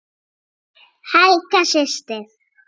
Helga systir.